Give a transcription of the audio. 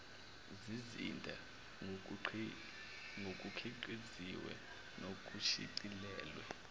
zizinda ngokukhiqiziwe nokushicilelwe